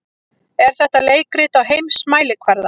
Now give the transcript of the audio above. Er þetta leikrit á heimsmælikvarða?